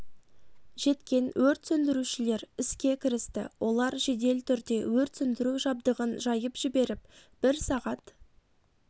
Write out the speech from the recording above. жеткен өрт сөндірушілер іске кірісті олар жедел түрде өрт сөндіру жабдығын жайып жіберіп бір сағат